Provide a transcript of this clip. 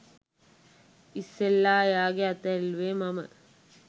ඉස්සෙල්ලා එයාගෙ අත ඇල්ලුවෙ මම